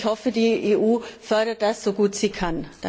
Ich hoffe, die EU fördert das, so gut sie kann.